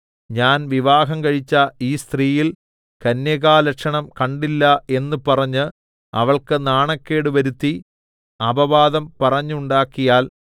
ഞാൻ വിവാഹം കഴിച്ച ഈ സ്ത്രീയിൽ കന്യകാലക്ഷണം കണ്ടില്ല എന്ന് പറഞ്ഞ് അവൾക്ക് നാണക്കേട് വരുത്തി അപവാദം പറഞ്ഞുണ്ടാക്കിയാൽ